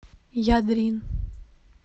ядрин